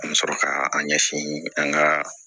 An bɛ sɔrɔ ka an ɲɛsin an ka